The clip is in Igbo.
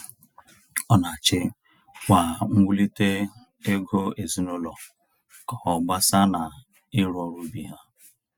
Ọ na achị kwa nwulite ego ezinaụlọ ka ọ agbasa na iru ọrụ ubi ha.